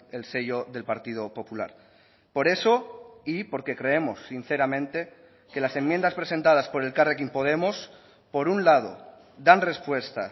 el sello del partido popular por eso y porque creemos sinceramente que las enmiendas presentadas por elkarrekin podemos por un lado dan respuesta